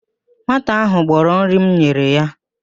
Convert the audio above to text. Nwata ahụ gbọrọ nri m nyere ya